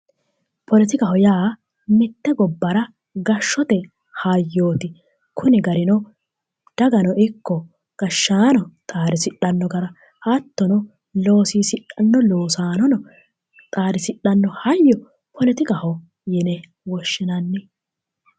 Poletikaho yaa mitte gobbara gashshote hayyooti kuni garino dagano ikko gashshaanono xaadisidhanno gara hattono loosiisidhanno losaano xaadisdhanno hayyo poletikaho yine woshshinanni